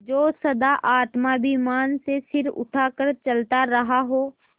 जो सदा आत्माभिमान से सिर उठा कर चलता रहा हो